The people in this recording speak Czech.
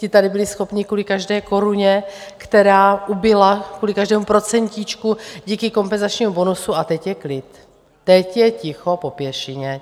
Ti tady byli schopni kvůli každé koruně, která ubyla, kvůli každému procentíčku díky kompenzačním bonusu... a teď je klid, teď je ticho po pěšině!